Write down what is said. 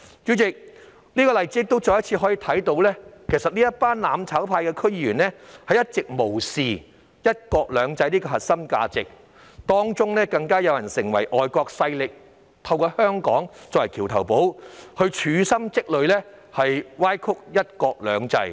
主席，我們從這些例子可再次看到，這群"攬炒派"區議員一直無視"一國兩制"這核心價值，更有人勾結外國勢力，以香港作為"橋頭堡"，處心積慮歪曲"一國兩制"。